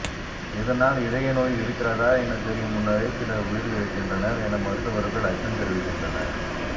இதனால் இதய நோய் இருக்கிறதா என தெரியும் முன்னரே சிலர் உயிரிழக்கின்றனர் என மருத்துவர்கள் அச்சம் தெரிவிகின்றனர்